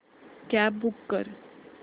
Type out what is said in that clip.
cab book कर